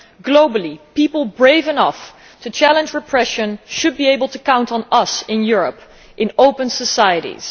Globally, people brave enough to challenge repression should be able to count on us in Europe in open societies.